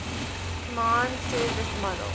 command service module